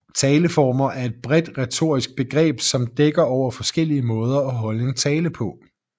Taleformer er et bredt retorisk begreb som dækker over forskellige måder at holde en tale på